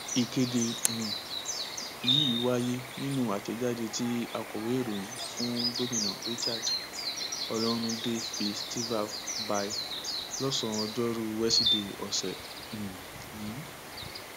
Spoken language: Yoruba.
ìkéde um yìí wáyé nínú àtẹjáde tí akọwé ìròyìn fún gómìnà richard ọlọrunndé fi sitav by lọsànán ọjọrùú wíṣọdẹ ọsẹ um yìí